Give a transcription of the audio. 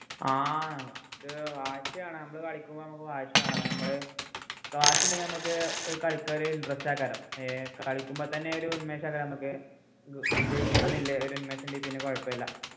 ആഹ് ക്കു വാശി വേണം നമ്മള് കളിക്കുമ്പോ കളിക്കുമ്പോ നമ്മക്ക് വാശി വേണം നമ്മള് വാശി ഉണ്ടെങ്കിൽ നമുക് ഒരു കളിക്കാൻ ഒരു interest ആക്കലോ ഏർ കളിക്കുമ്പോ തന്നെ ഒരു ഉന്മേഷം ഒക്കെ നമ്മക്ക് ജെ ജയിക്കണം ന്നുള്ള ഒരു ഉന്മേഷം ഉണ്ടെങ്കിൽ പിന്നെ കുഴപ്പില്ല